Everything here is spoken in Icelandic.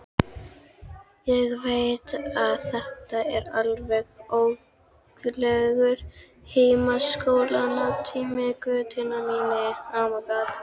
Ég veit að þetta er alveg óguðlegur heimsóknartími, Gutti minn.